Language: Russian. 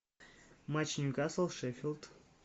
матч ньюкасл шеффилд